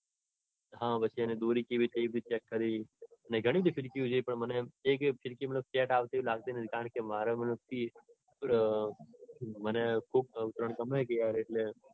હા પછી એની દોરી check કરી ઘણીબધી ફીરકીઓ check કરી પણ મને એમ એક પણ ફીરકી set આવતી એમ લગતી નતી. કારણકે મતલબ આમ મને ખુબ ઉત્તરાયણ ગમે ને